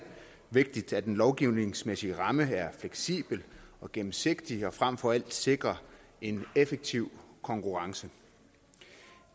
vigtigt at den lovgivningsmæssige ramme er fleksibel og gennemsigtig og frem for alt sikrer en effektiv konkurrence